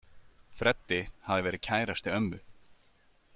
Freddi hafði verið kærasti ömmu.